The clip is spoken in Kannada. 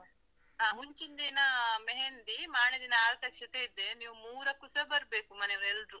ಅಹ್ ಮುಂಚಿನ್ ದಿನಾ ಮೆಹಂದಿ, ಮಾರ್ನೆ ದಿನ ಆರತಕ್ಷತೆ ಇದೆ. ನೀವು ಮೂರಕ್ಕೂಸ ಬರ್ಬೇಕು ಮನೇವ್ರೆಲ್ರು.